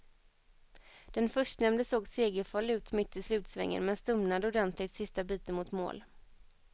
Den förstnämnde såg segerfarlig ut mitt i slutsvängen men stumnade ordentligt sista biten mot mål.